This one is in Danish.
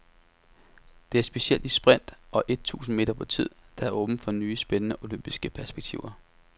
Det er specielt i sprint og et tusind meter på tid, der er åbnet for nye, spændende olympiske perspektiver.